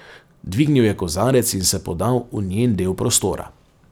Dvignil je kozarec in se podal v njen del prostora.